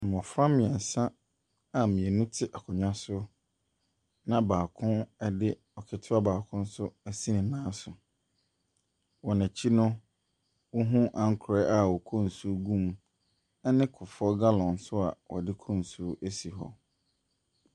Mmɔfra mmiɛnsa a mmienu te akonwa so na baako ɛde ketewa baako ɛnso ɛsi ne nan so. Wɔn akyi no, wohu ankorɛ a wɔkɔ nsuo gu mu ɛne kuffour gallon nso a ɔdekɔ nsuo esi hɔ.